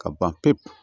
Ka ban pewu